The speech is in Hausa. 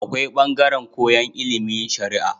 Akwai bangaran koyan ilimin sharaa